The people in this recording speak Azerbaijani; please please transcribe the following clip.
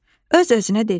Öz-özünə dedi: